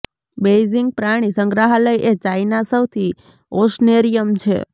Beijing પ્રાણી સંગ્રહાલય એ ચાઇના સૌથી ઓસનેરિયમ છે